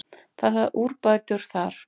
Það þarf úrbætur þar.